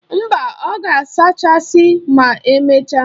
Mba, ọ ga-asachasi ma emechaa.